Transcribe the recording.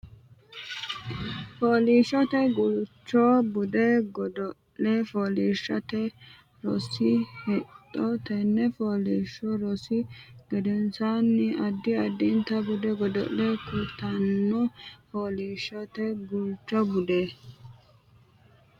Fooliishshote Guulcho Budu Godo le Fooliishshote Rosi Hexxo Tenne fooliishsho rosi gedensaanni Addi addita budu godo le kultanno Fooliishshote Guulcho Budu.